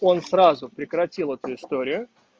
он сразу прекратил эту историю